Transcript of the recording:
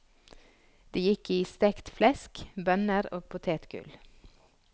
Det gikk i stekt flesk, bønner og potetgull.